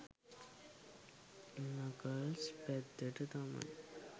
Knuckles පැත්තට තමයි.